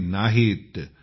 अडते नाहीत